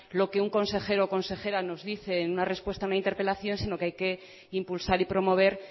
lo que un consejero o consejera nos dice en una respuesta a una interpelación sino que hay que impulsar y promover